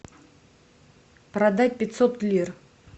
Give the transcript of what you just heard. продать пятьсот лир